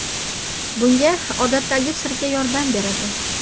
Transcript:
Bunga odatdagi sirka yordam beradi.